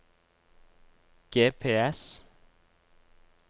GPS